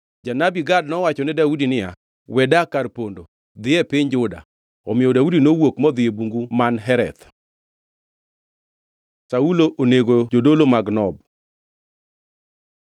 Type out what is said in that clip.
Janabi Gad nowachone Daudi niya, “We dak kar pondo, dhi e piny Juda.” Omiyo Daudi nowuok modhi e bungu man Hereth. Saulo onego jodolo mag Nob